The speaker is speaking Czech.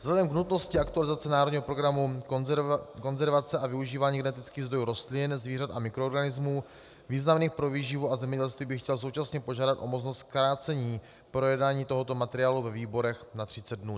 Vzhledem k nutnosti aktualizace Národního programu konzervace a využívání genetických zdrojů rostlin, zvířat a mikroorganismů významných pro výživu a zemědělství bych chtěl současně požádat o možnost zkrácení projednání tohoto materiálu ve výborech na 30 dnů.